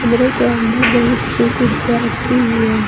कमरे के अंदर बहुत सी कुर्सियां रखे हुई हैं।